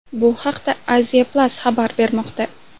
Bu haqda Asia Plus xabar bermoqda .